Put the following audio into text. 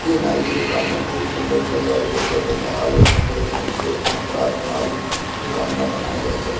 ये नाई की दुकान में को सजाया गया है जहां लाल और सफेद रंग को कंट्रास्ट बन रही दुकान में बनाए गया ज --